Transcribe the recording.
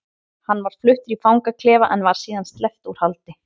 Hann var fluttur í fangaklefa en var síðar sleppt úr haldi.